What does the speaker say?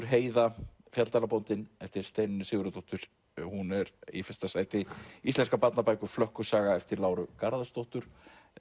Heiða eftir Steinunni Sigurðardóttur hún er í fyrsta sæti íslenskar barnabækur Flökkusaga eftir Láru Garðarsdóttur